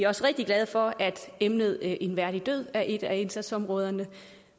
også rigtig glade for at emnet en værdig død er et af indsatsområderne